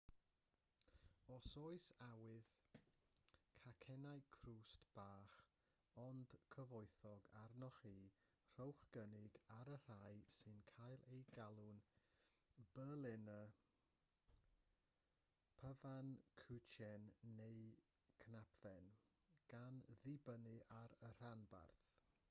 os oes awydd cacennau crwst bach ond cyfoethog arnoch chi rhowch gynnig ar y rhai sy'n cael eu galw'n berliner pfannkuchen neu knapfen gan ddibynnu ar y rhanbarth